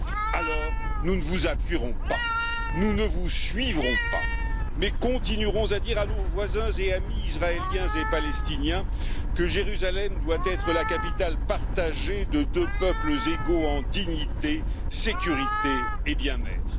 Alors, nous ne vous appuierons pas, nous ne vous suivrons pas, mais continuerons à dire à nos voisins et amis israéliens et palestiniens que Jérusalem doit être la capitale partagée de deux peuples égaux en dignité, sécurité et bien être.